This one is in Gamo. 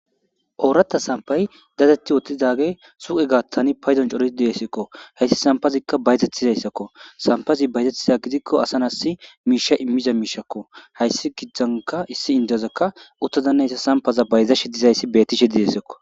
ooratta sampay datetti wotidage suqe gaattani payzon cori deesekko hayssi sampazikka baytettizayssakko sampazi baytettiza gidikko asan assi miisha immiza miishakko hayssi giddzanka issi indiyazakka uttazannayssa sampaza bayzashi dizayssi betishe didessakko